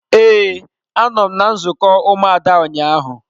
Ee, a nọ m na nzukọ ụmụada ụnyaahụ.